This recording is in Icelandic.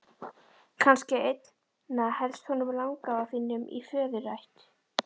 Kannski einna helst honum langafa þínum í föðurætt.